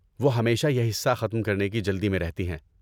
وہ ہمیشہ یہ حصہ ختم کرنے کی جلدی میں رہتی ہے۔